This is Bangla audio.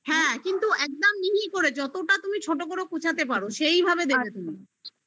হ্যা একদম মিহি করে যতটা তুমি ছোট করে কুচাতে পারো সেইভাবে দেবে